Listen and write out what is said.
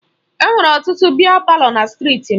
Enwere ọtụtụ biya palọ na strịti m.